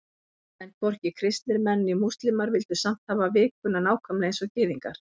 En hvorki kristnir menn né múslímar vildu samt hafa vikuna nákvæmlega eins og Gyðingar.